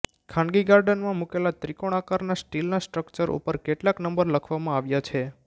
ખાનગી ગાર્ડનમાં મૂકેલા ત્રિકોણ આકારના સ્ટીલના સ્ટ્રકચર ઉપર કેટલાક નંબર લખવામાં આવ્યા છે